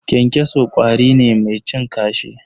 Kyankyaso ƙwari ne mai cin kashi.